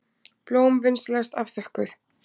Blóm vinsamlegast afþökkuð.